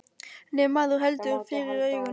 En ef maður heldur fyrir augun.